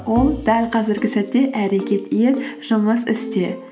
ол дәл қазіргі сәтте әрекет ет жұмыс істе